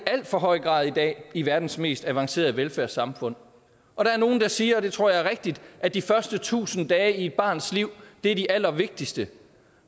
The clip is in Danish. for høj grad i dag i verdens mest avancerede velfærdssamfund og der er nogle der siger og det tror jeg er rigtigt at de første tusind dage i et barns liv er de allervigtigste